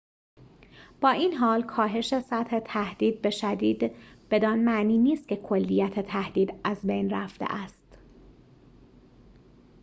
با این‌حال کاهش سطح تهدید به شدید بدان معنی نیست که کلیت تهدید از بین رفته است